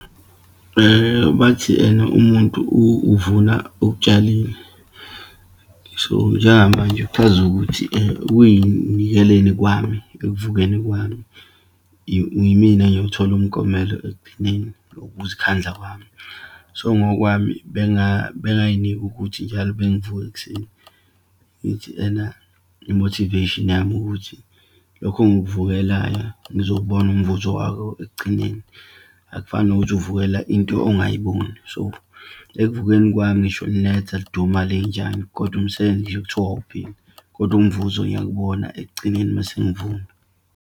Bathi umuntu uvuna okutshalile. So, njengamanje kuchaza ukuthi ukuyinikeleni kwami, ekuvikeleni kwami yimina engiyowuthola umkomelo ekuphileni ngokuzikhandla kwami. So, ngokwami bengayinika ukuthi njalo uma ngivuka ekuseni, ngithi ena i-motivation yami, ukuthi lokho engikuvukelayo ngizokubona umvuzo wako ekugcineni. Akufani nokuthi uvukela into ongayiboni. So, ekuvikeni kwami ngisho linetha, liduma, linjani, kodwa umsebenzi nje kuthiwa awupheli. Kodwa umvuzo ngiyakubona ekugcineni uma sengivuna.